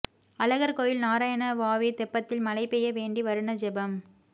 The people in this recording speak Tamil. அழகர் கோவில் நாராயண வாவி தெப்பத்தில் மழை பெய்ய வேண்டி வருண ஜெபம்